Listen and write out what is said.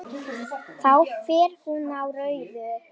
Þá fer hún á rauðu.